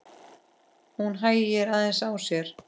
Hún hægir aðeins á sér.